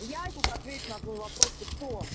я сейчас отвечу на твой вопрос ты кто